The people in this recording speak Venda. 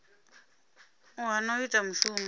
u hana u ita mushumo